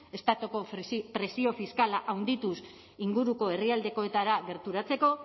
estatuko presio fiskala handituz inguruko herrialdeetara gerturatzeko